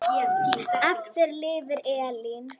Eftir lifir Elín.